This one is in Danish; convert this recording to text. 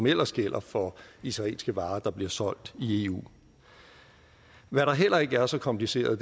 ellers gælder for israelske varer der bliver solgt i eu hvad der heller ikke er så kompliceret